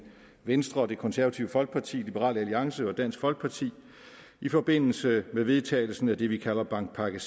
venstre det konservative folkeparti liberal alliance og dansk folkeparti i forbindelse med vedtagelsen af det vi kalder bankpakke